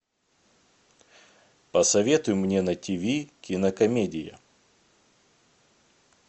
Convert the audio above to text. посоветуй мне на тв кинокомедию